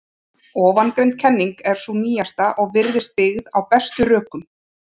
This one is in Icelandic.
Ofangreind kenning er sú nýjasta og virðist byggð á bestum rökum.